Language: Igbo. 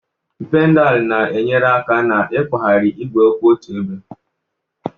Pedalu na-enyere aka n'ịkwagharị igwe kwụ otu ebe.